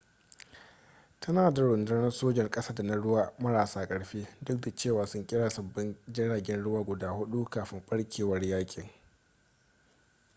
tana da rundunar sojan ƙasa da na ruwa marasa ƙarfi duk da cewa sun kera sabbin jiragen ruwa guda hudu kafin barkewar yakin